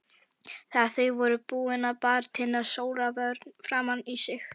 Þegar þau voru búin bar Tinna sólarvörn framan í sig.